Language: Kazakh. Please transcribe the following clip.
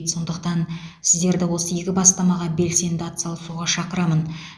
сондықтан сіздерді осы игі бастамаға белсенді атсалысуға шақырамын